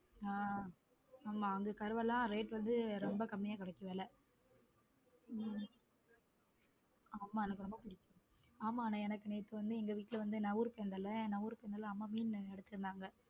ஹம் ஆமா அங்க கருவாடு எல்லாம் rate வந்து ரொம்ப கம்மியா கிடைக்கும் விலை உம் ஆமா எனக்கு ரொம்ப பிடிக்கும் ஆமா எனக்கு நேத்து வந்து எங்க வீட்டுல நான் ஊருக்கு போயிருந்தேன்ல அம்மா மீன் எடுத்து இருந்தாங்க.